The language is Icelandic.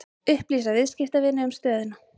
Upplýsa viðskiptavini um stöðuna